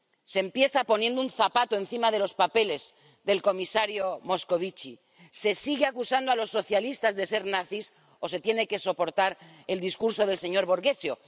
Se empieza poniendo un zapato encima de los papeles del comisario Moscovici, se sigue acusando a los socialistas de ser nazis o se tiene que soportar el discurso del señor Borghezio.